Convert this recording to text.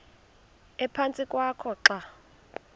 ephantsi kwakho xa